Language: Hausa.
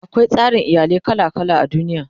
akwai tsarin iyalai kala kala a duniya